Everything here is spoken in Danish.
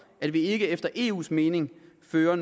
at vi ikke efter eus mening fører